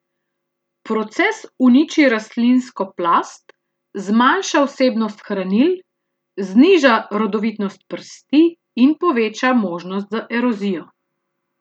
Proces uniči rastlinsko plast, zmanjša vsebnost hranil, zniža rodovitnost prsti in poveča možnost za erozijo.